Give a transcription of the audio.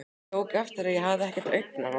Ég tók eftir að ég hafði ekkert augnaráð.